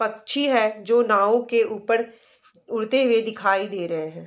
पक्छी हैं जो नाव के ऊपर उड़ते हुए दिखाई दे रहे हैं।